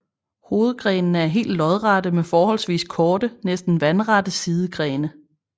Hovedgrenene er helt lodrette med forholdsvis korte næsten vandrette sidegrene